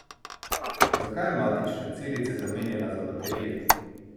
Zakaj je matične celice zamenjala za baterije?